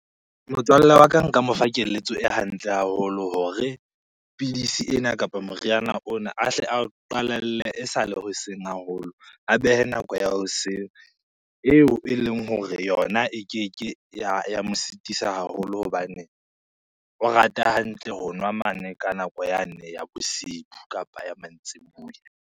Motswalle wa ka nka mo fa keletso e hantle haholo hore pidisi ena kapa moriana ona a hle ao qalelle esale hoseng haholo. A behe nako ya hoseng eo eleng hore yona e keke ya mo sitisa haholo hobane o rata hantle ho nwa mane ka nako yane ya bosibu kapa ya mantsibuya.